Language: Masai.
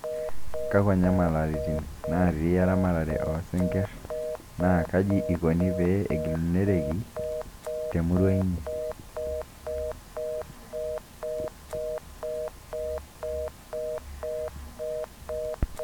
kakua nyamalaratin natii eramatare oo sinkirr naa kaji ikoni pee egilunoreki te emurua inyi